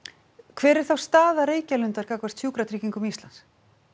hver er þá staða Reykjalundar gagnvart Sjúkratryggingum Íslands